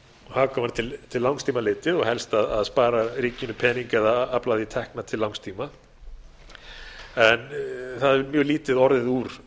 vera hagkvæmar til langs tíma litið og helst að spara ríkinu pening eða afla því tekna til langs tíma en það hefur mjög lítið orðið úr